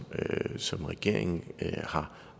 som regeringen har